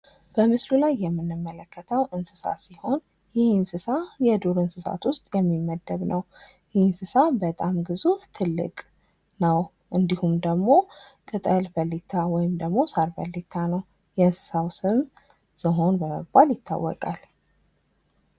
በምስሉ ላይ የምንመለከተው እንስሳ ሲሆን ይህ እንስሳ የዱር እንስሳት ውስጥ የሚመደብ ነው ። ይህ እንስሳ በጣም ግዙፍ ትልቅ ነው ። እንዲሁም ደግሞ ቅጠል በሊታ ወይም ደግሞ ሳር በሊታ ነው ።የእንስሳው ስም ዝሆን በመባል ይታወቃል ።